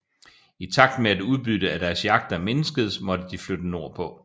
I takt med at udbyttet af deres jagter mindskedes måtte de flytte nordpå